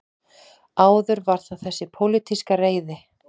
Áður var það þessi pólitíska reiði